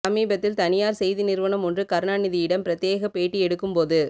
சமீபத்தில் தனியார் செய்தி நிறுவனம் ஒன்று கருணாநிதியிடம் பிரத்யேகப் பேட்டி எடுக்கும்போது